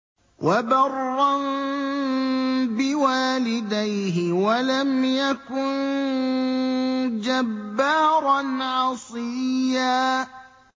وَبَرًّا بِوَالِدَيْهِ وَلَمْ يَكُن جَبَّارًا عَصِيًّا